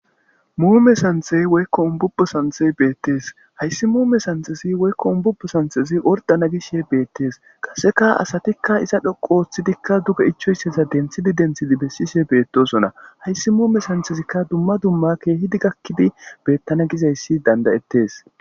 Muume santhey woykko ubbubbo santhey santhey beettes. hayssi muume santhezi wokko umbubo santhezi orddana gishe beetes. haysdikka asatikka iza dhoqqu oothidkka duge ichoyssaza denthidi denthidi essishe beettoosona. hayssi muume santhezikka dumma dumma keehidi gakkidi beetana gizayssi beettees. g